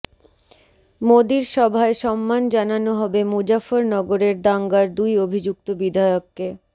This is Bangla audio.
মোদীর সভায় সম্মান জানানো হবে মুজফ্ফরনগরের দাঙ্গার দুই অভিযুক্ত বিধায়ককে